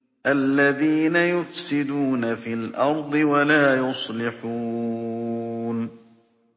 الَّذِينَ يُفْسِدُونَ فِي الْأَرْضِ وَلَا يُصْلِحُونَ